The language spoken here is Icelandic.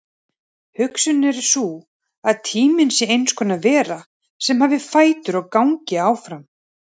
Hugsunin er sú að tíminn sé eins konar vera sem hafi fætur og gangi áfram.